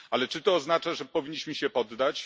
Ale czy to oznacza, że powinniśmy się poddać?